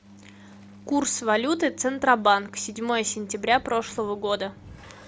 курс валюты центробанк седьмое сентября прошлого года